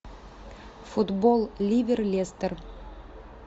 футбол ливер лестер